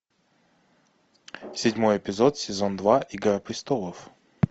седьмой эпизод сезон два игра престолов